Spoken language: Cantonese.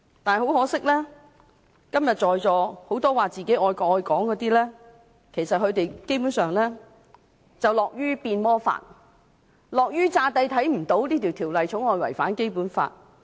不過很可惜，今天在座很多說自己愛國愛港的人，基本上樂於變魔法，樂於假裝看不到這項《條例草案》違反《基本法》。